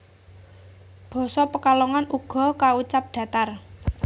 Basa Pekalongan uga kaucap datar